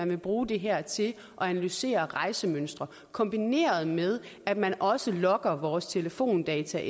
vil bruge det her til at analysere rejsemønstre kombineret med at man også logger vores telefondata